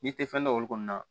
N'i tɛ fɛn dɔn olu kɔni na